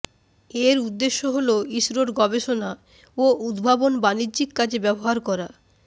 এর উদ্দেশ্য হল ইসরোর গবেষণা ও উদ্ভাবন বাণিজ্যিক কাজে ব্যবহার করা